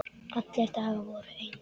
Allir dagar voru eins.